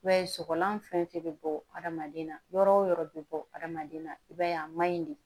I b'a ye sɔgɔlan fɛn fɛn bɛ bɔ adamaden na yɔrɔ wo yɔrɔ bɛ bɔ adamaden na i b'a ye a man ɲi de